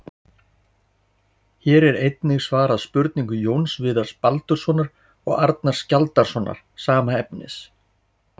Hér er einnig svarað spurningu Jóns Viðars Baldurssonar og Arnars Skjaldarsonar, sama efnis.